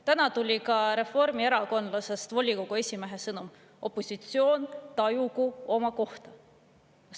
Täna tuli ka reformierakondlasest volikogu esimehe sõnum: opositsioon tajugu oma kohta.